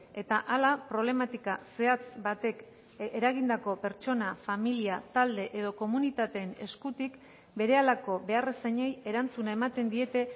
eta hala problematika zehatz batek eragindako pertsona familia talde edo komunitateen eskutik berehalako beharrizanei erantzuna ematen diete